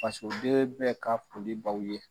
Fasoden bɛ ka foli b'aw ye.